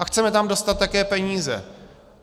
A chceme tam dostat také peníze.